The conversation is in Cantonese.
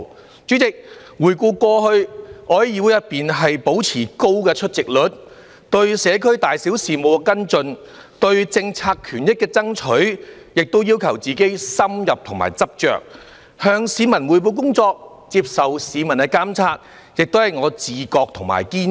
代理主席，回顧過去，我在議會內保持高出席率，對社區大小事務跟進、對政策權益爭取，亦要求自己"深入和執着"，向市民匯報工作、接受市民監察，亦是我的"自覺和堅持"。